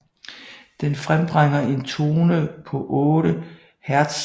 Den frembringer en tone på 8 Hz